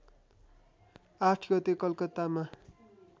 ८ गते कलकत्तामा